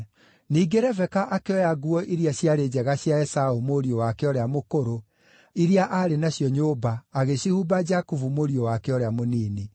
Ningĩ Rebeka akĩoya nguo iria ciarĩ njega cia Esaũ mũriũ wake ũrĩa mũkũrũ iria aarĩ nacio nyũmba agĩcihumba Jakubu mũriũ wake ũrĩa mũnini.